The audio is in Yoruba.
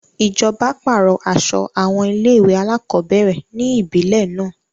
Ìjọba pàrọ̀ aso àwọn ilé-ìwé alákọ̀ọ́bẹ̀rẹ̀ ni ibile náà.